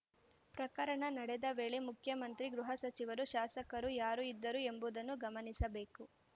ಪ್ರಕರಣ ನಡೆದ ವೇಳೆ ಮುಖ್ಯಮಂತ್ರಿ ಗೃಹ ಸಚಿವರು ಶಾಸಕರು ಯಾರು ಇದ್ದರು ಎಂಬುದನ್ನು ಗಮನಿಸಬೇಕು